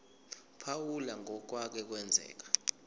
phawula ngokwake kwenzeka